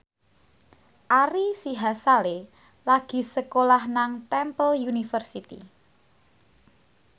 Ari Sihasale lagi sekolah nang Temple University